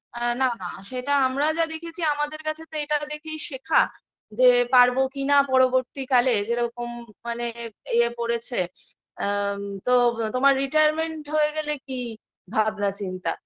না না সেটা আমরা যা দেখেছি আমাদের কাছে তো এটা দেখেই শেখা যে পারবো কিনা পরবর্তীকালে যেরকম মানে ইয়ে পড়েছে এ তো তোমার retirement হয়ে গেলে কি ভাবনা চিন্তা